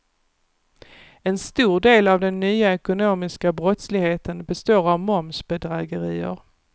En stor del av den nya ekonomiska brottsligheten består av momsbedrägerier.